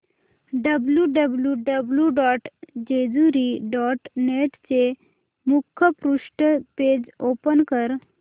W W W dot Jejuri dot net चे मुखपृष्ठ page open कर